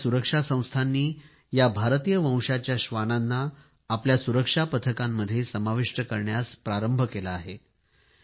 आता आपल्या सुरक्षा संस्थांनी या भारतीय वंशाच्या श्वानांना आपल्या सुरक्षा पथकामध्ये समाविष्ट करण्यास प्रारंभ केला आहे